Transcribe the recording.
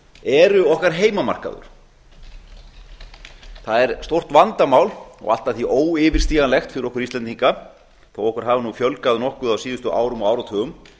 eru okkar heimamarkaður það er stórt vandamál og allt að því óyfirstíganlegt fyrir okkur íslendinga þó okkur hafi nú fjölgað nokkuð á síðustu árum og áratugum